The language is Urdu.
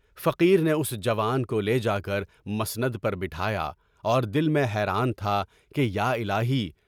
فقیر نے اُس جوان کو لے کر مسند پر بٹھا یا اور دل میں حیران تھا کہ یا الٰہی!